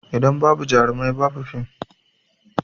In babu jarumai ba bu fim